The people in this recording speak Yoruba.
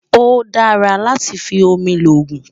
ọ̀ dàrà látí fí òmì lógún